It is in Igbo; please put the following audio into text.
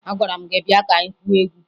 Agwara m gị bịa ka anyị gwuo egwu!